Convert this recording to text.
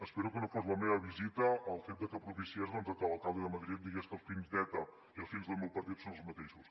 espero que no fos la meva visita el fet que propiciés doncs que l’alcalde de madrid digués que els fins d’eta i els fins del meu partit són els mateixos